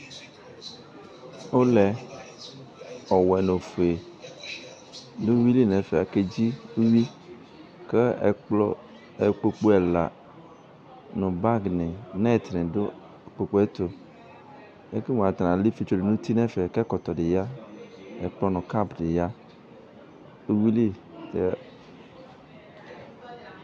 Ʋlɛ ɔwɛ nʋ ofue akedzi iwui nʋ uwuili kʋ ikpokʋ ɛla nʋ bag ni nɛt dʋ ikpokʋ ɛtʋ ekele mʋ atala ifietsu dʋnʋ ɛfɛ kʋ ɛkɔtɔdi ya kʋ ɛkplɔ nʋ kap ni yanʋ iwuili